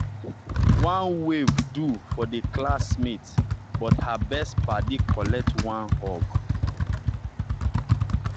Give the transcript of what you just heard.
one wave do for the classmate but her best paddy collect one hug.